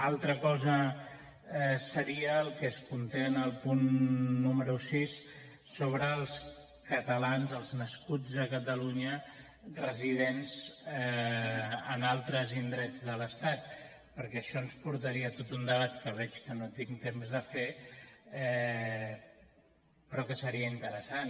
altra cosa seria el que es conté en el punt número sis sobre els catalans els nascuts a catalunya residents en altres indrets de l’estat perquè això ens portaria a tot un debat que veig que no tinc temps de fer però que seria interessant